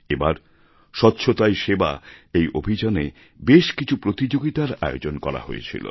এবার স্বচ্ছতাই সেবা অভিযানে বেশ কিছু প্রতিযোগিতার আয়োজন করা হয়েছিল